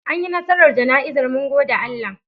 Anyi nasarar jana'izar mun gode Allah.